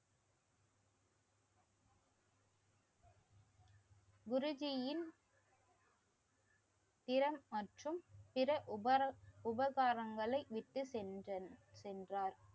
குருஜீயின் திறன் பிற உபகாரங்களை விட்டு சென்றார். சென்றார்.